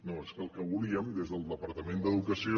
no és que el que volien des del departament d’educació